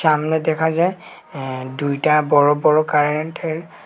আমনে দেখা যায় অ্যা দুইটা বড় বড় কারেন্টের--